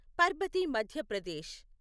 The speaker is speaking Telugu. పర్బతి మధ్య ప్రదేశ్